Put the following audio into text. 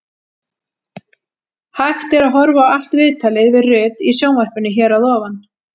Hægt er að horfa á allt viðtalið við Rut í sjónvarpinu hér að ofan.